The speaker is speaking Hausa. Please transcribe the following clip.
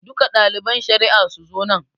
Duka ɗaliban shari'a su zo nan.